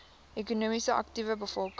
ekonomies aktiewe bevolking